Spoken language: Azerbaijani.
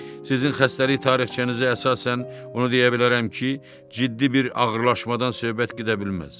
Sizin xəstəlik tarixçənizə əsasən onu deyə bilərəm ki, ciddi bir ağırlaşmadan söhbət gedə bilməz.